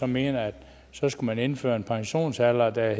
mener at så skal man indføre en pensionsalder der er